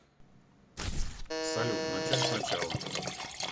салют начать с начала